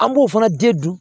An b'o fana den dun